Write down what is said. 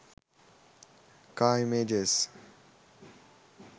car images